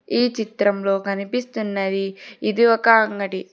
ఈ చిత్రంలో కనిపిస్తున్నది ఇది ఒక అంగడి.